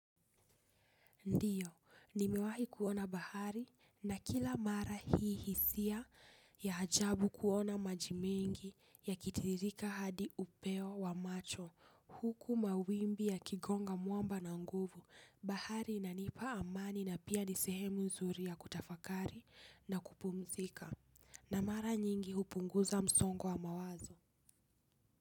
Ndiyo, nimewahi kuona bahari na kila mara hii hisia ya ajabu kuona maji mengi yakitiririka hadi upeo wa macho huku mawimbi yakigonga mwamba na nguvu bahari inanipa amani na pia nisehemu nzuri ya kutafakari na kupumzika na mara nyingi hupunguza msongo wa mawazo.